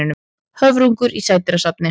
Höfrungur í sædýrasafni.